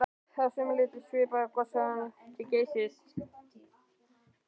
Að sumu leyti svipar goshegðun hans til Geysis.